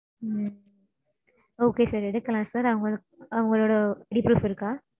உம் Okay sir. எடுக்கலாம் sir அவங்க~அவங்களோட details இருக்கா?